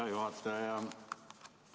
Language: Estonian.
Hea juhataja!